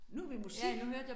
Nu har vi musik